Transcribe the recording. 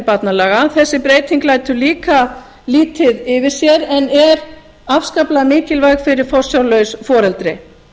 barnalaga þessi breyting lætur líka lítið yfir sér en er afskaplega mikilvæg fyrir forsjárlaus foreldri